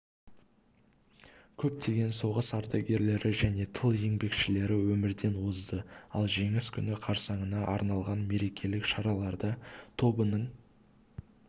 көптеген соғыс ардагерлері және тыл еңбекшілері өмірден озды ал жеңіс күні қарсаңына арналған мерекелік шараларда тобының